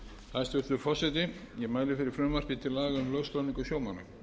hæstvirtur forseti ég mæli fyrir frumvarpi til laga um lögskráningu sjómanna